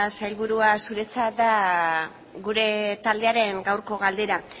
sailburua zuretzat da gure taldearen gaurko galdera